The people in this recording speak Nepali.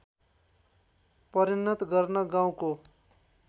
परिणत गर्न गाउँको